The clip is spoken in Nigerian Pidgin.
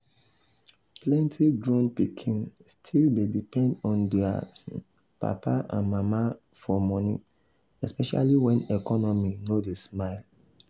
plenty grown pikin still dey depend on their papa and mama for money especially when economy no dey smile.